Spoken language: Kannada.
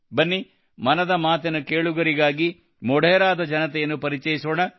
ಬನ್ನಿ ಮನದ ಮಾತಿನ ಕೇಳುಗರಿಗೆ ಮೊಢೆರಾದ ಜನತೆಯನ್ನು ಪರಿಚಯಿಸೋಣ